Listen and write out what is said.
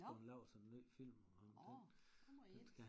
Nå nå der må jeg ind